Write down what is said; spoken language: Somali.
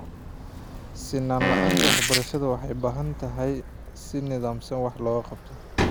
Sinnaan la'aanta waxbarashada waxay u baahan tahay in si nidaamsan wax looga qabto.